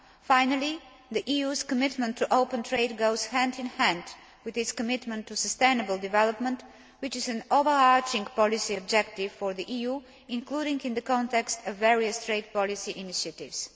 Finally, the EU's commitment to open trade goes hand in hand with its commitment to sustainable development, which is an overarching policy objective for the EU, including in the context of various trade policy initiatives.